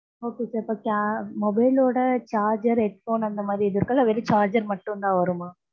okay, mobile ஓட charger, headphone அந்த மாதிரி இது இருக்குல்ல, வெறும் charger மட்டும்தான் வருமா